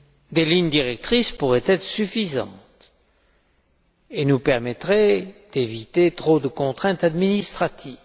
Des lignes directrices pourraient être suffisantes et nous permettraient d'éviter trop de contraintes administratives.